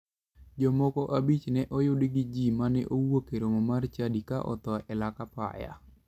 Ji moko abich ne oyudi gi ji mane owuok e romo mar chadi ka otho e lak apaya.